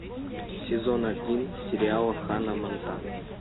сезон один сериала ханна монтана